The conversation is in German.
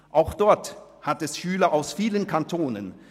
Auch dort hat es Schüler aus vielen Kantonen.